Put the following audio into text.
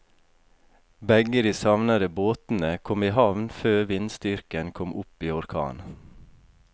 Begge de savnede båtene kom i havn før vindstyrken kom opp i orkan.